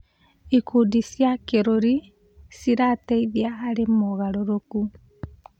Ikundi cia kĩrũrĩrĩ cirateithia harĩ mogarũrũku.